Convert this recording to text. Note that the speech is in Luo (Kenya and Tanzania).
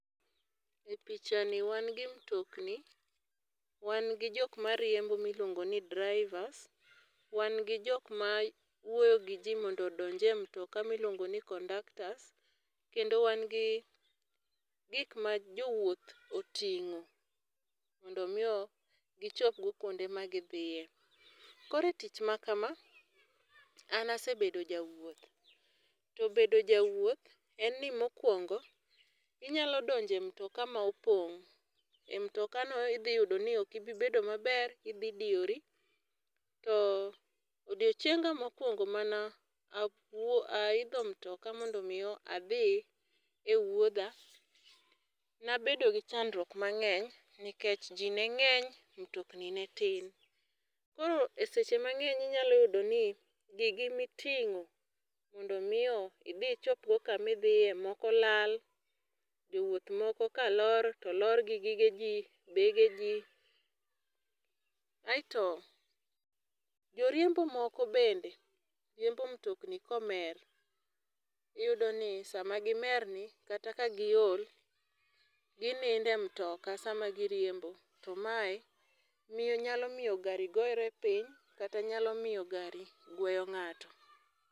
Epichani wan gi mtokni, wan gi jok mariembo miluongo ni drivers ,wan gi jok mawuoyo giji mondo odonj e mutoka miluongo ni kondaktas kendo wan gi gik ma jowuoth oting'o mondo mio gichopgo kuonde magi dhiye. Koro e tich makama, an asebedo jawuoth to bedo jawuoth, en ni mokwongo inyalo donjo e mtoka ma opong',e mtokano idhi yudo niok ibi bedo maber, idhi diyori to odiechienga mokuongo mana awuo, aidho mtoka mondo miyo adhi ewuodha, nabedo gi chandruok mang'eny nikech ji neng'eny mtokni ne tin, koro eseche mang'eny ínyalo yudo ni gigi miting'o mondo mii idhi ichopgo kamidhiye moko olal, jowuoth moko kalor to lor gi gige ji bege ji, aeto joriembo moko bende riembo mutokni komer, iyudoni sama gimerni, kata kagiol ginido e mtoka sama giriembo tomae mio nyalo miyo gari gore piny kata nyalo miyo gari gueyo ng'ato.